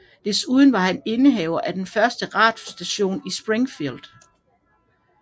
Desuden var han indehaver af den første radiostation i Springfield